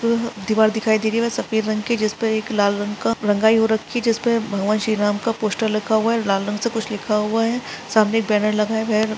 दिवार दिखाई दे रही है और सफ़ेद रंग की जिसमें एक लाल रंग का रंगाई हो राखी ही है जिस पर भगवान श्री राम का पोस्टर लक्खा हुआ है लाल रंग से कुछ लिखा हुआ है। सामने एक बनेर लगा है।